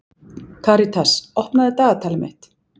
Karitas, opnaðu dagatalið mitt.